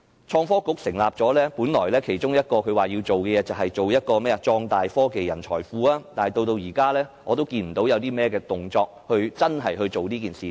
創新及科技局成立後，本來它其中一項工作是壯大科技人才庫，但至今我仍未看到有任何動作，真正落實這件事。